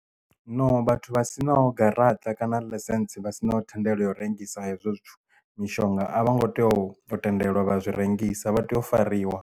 No vhathu vha sinao garaṱa kana ḽaisentsi vha sinaho thendelo yo rengisa hezwo zwithu mishonga a vho ngo tea u yo tendelwa vha zwi rengisa vha tea u fariwa.